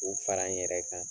U fara n yɛrɛ kan